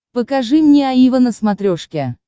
покажи мне аива на смотрешке